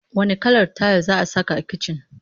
Wanne kalar tayil za saka a kicin?